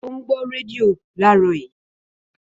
Ó ń gbọ́ rédíò láàárọ̀ yìí